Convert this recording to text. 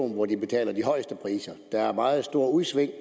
hvor de betaler de højeste priser der er meget store udsving